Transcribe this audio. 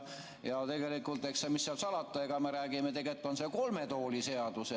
Mis seal salata, eks me räägime, et tegelikult on see kolme tooli seadus.